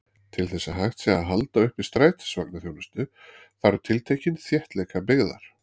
Til þess að hægt sé að halda uppi strætisvagnaþjónustu, þarf tiltekinn þéttleika byggðar.